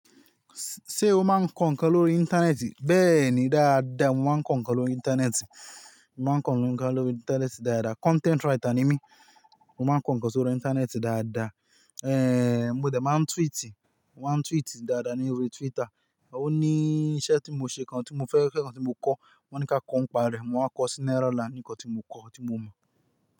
Ṣé o máa ń kọ ǹkan lórí ìntanẹ́ẹ̀tì? Bẹ́ẹ̀ni dáadáa, mo máa ń kọ ǹkan lórí ìntanẹ́ẹ̀tì. Mo máa ń kọ ǹkan lórí ìntanẹ́ẹ̀tì dáadáa. Content writer ni mí. Mo máa ń kọ ǹkan sórí ìntanẹ́ẹ̀tì dáadáa, mo dẹ̀ máa ń tweetì. Mo máa ń tweetì dáadáa ní orí Twitter. Òní iṣẹ́ tí mo ṣe kan tí mo fẹ́, tí mo kọ́, wọ́n ní kí a kọ ń pa rẹ̀. Mo waa kọ Cinderella nkan tí mo kọ, tí mo mọ̀.